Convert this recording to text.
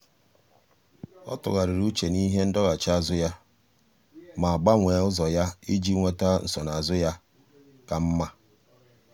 ọ́ tụ́ghàrị̀rị̀ úchè n’íhé ndọghachi azụ ya ma gbanwee ụ́zọ́ ya iji nwéta nsonaazụ ka mma. mma.